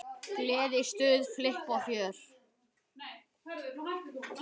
Gleði, stuð, flipp og fjör.